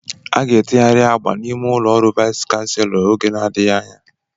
A ga-etegharị agba n'ime ụlọ ọrụ Vais Kanselọ oge na-adịghị anya